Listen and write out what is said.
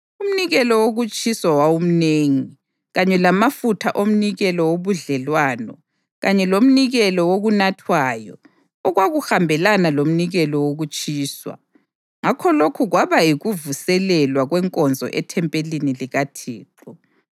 Umnikelo wokutshiswa wawumnengi, kanye lamafutha omnikelo wobudlelwano kanye lomnikelo wokunathwayo okwakuhambelana lomnikelo wokutshiswa. Ngakho lokhu kwaba yikuvuselelwa kwenkonzo ethempelini likaThixo.